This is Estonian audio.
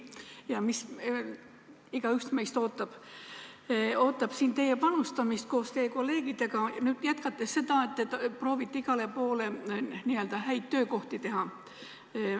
Ja igaüks meist ootab siin teie ja teie kolleegide panustamist, kui te jätkate seda, et proovite igale poole n-ö häid töökohti teha.